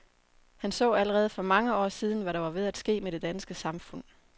Han så allerede for mange år siden, hvad der var ved at ske med det danske samfund.